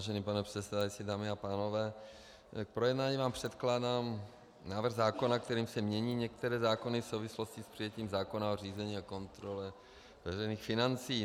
Vážený pane předsedající, dámy a pánové, k projednání vám předkládám návrh zákona, kterým se mění některé zákony v souvislosti s přijetím zákona o řízení a kontrole veřejných financí.